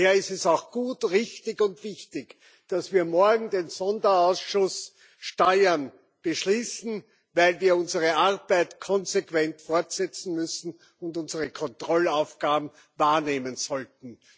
Daher ist es auch gut, richtig und wichtig, dass wir morgen den Sonderausschuss Steuern beschließen, weil wir unsere Arbeit konsequent fortsetzen müssen und unsere Kontrollaufgaben wahrnehmen sollten.